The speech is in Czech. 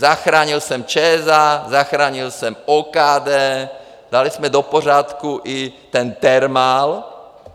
Zachránil jsem ČSA, zachránil jsem OKD, dali jsme do pořádku i ten Thermal.